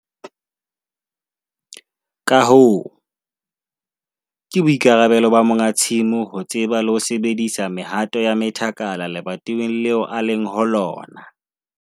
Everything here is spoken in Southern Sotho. Ka hoo, ke boikarabelo ba monga tsimo ho tseba le ho sebedisa mehato ya methakala lebatoweng leo a leng ho lona.